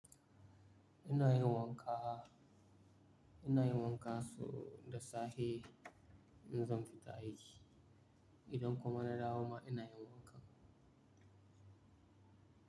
Ina yin wanka, ina yin wanka sau da safe in zan fita aiki. Idan kuma na dawo ma ina yin wanka.